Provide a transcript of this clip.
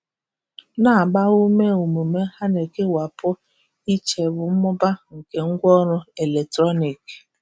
Na-agba ume omume a na-ekewapụ iche bụ mmụba nke ngwaọrụ eletrọnịkị.